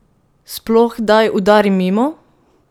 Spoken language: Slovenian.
Sploh kdaj udari mimo?